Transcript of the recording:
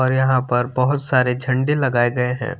यहाँ पर बहुत सारे झंडे लगाए गए हैं।